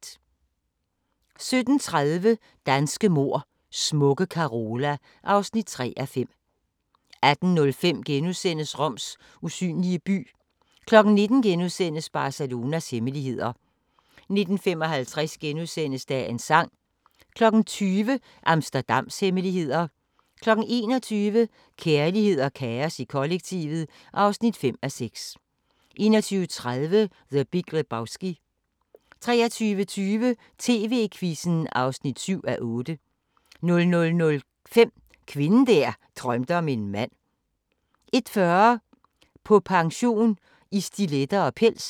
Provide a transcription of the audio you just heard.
17:30: Danske mord: Smukke Carola (3:5) 18:05: Roms usynlige by * 19:00: Barcelonas hemmeligheder * 19:55: Dagens sang * 20:00: Amsterdams hemmeligheder 21:00: Kærlighed og kaos i kollektivet (5:6) 21:30: The Big Lebowski 23:20: TV-Quizzen (7:8) 00:05: Kvinden der drømte om en mand 01:40: På pension i stiletter og pels